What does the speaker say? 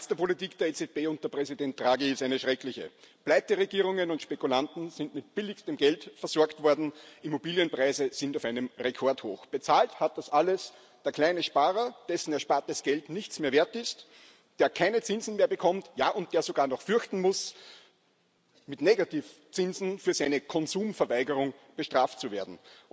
Die Bilanz der Politik der EZB unter Präsident Draghi ist eine schreckliche Pleiteregierungen und Spekulanten sind mit billigstem Geld versorgt worden, und Immobilienpreise sind auf einem Rekordhoch. Bezahlt hat das alles der kleine Sparer, dessen erspartes Geld nichts mehr wert ist, der keine Zinsen mehr bekommt und sogar noch fürchten muss, mit Negativzinsen für seine Konsumverweigerung bestraft zu werden.